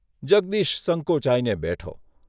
જગદીશ સંકોચાઇને બેઠો.